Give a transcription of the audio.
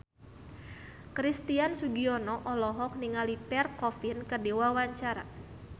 Christian Sugiono olohok ningali Pierre Coffin keur diwawancara